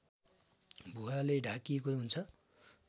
भुवाले ढाकिएको हुन्छ